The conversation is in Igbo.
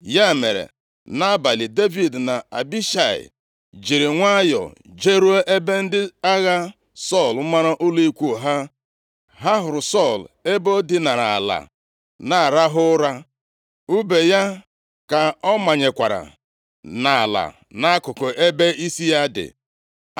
Ya mere, nʼabalị, Devid na Abishai jiri nwayọọ jeruo ebe ndị agha Sọl mara ụlọ ikwu ha. Ha hụrụ Sọl ebe o dinara ala na-arahụ ụra. Ùbe ya ka ọ manyekwara nʼala nʼakụkụ ebe isi ya dị.